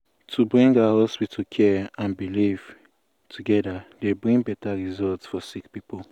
wait- to bring ah hospital care and belief togeda dey bring beta result for sick poeple.